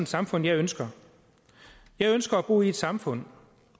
samfund jeg ønsker jeg ønsker at bo i et samfund